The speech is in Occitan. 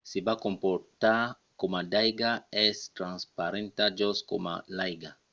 se va comportar coma d’aiga. es transparenta just coma l’aiga